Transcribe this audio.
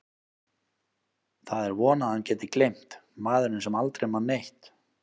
Það er von að hann geti gleymt, maðurinn sem aldrei man neitt.